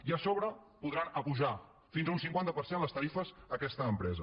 i a sobre podran apujar fins a un cinquanta per cent les tarifes aquesta empresa